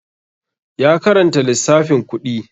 Ya karanta lissafin kuɗi